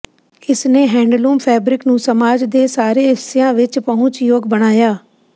ਇਸ ਨੇ handloom fabric ਨੂੰ ਸਮਾਜ ਦੇ ਸਾਰੇ ਹਿੱਸਿਆਂ ਵਿੱਚ ਪਹੁੰਚਯੋਗ ਬਣਾਇਆ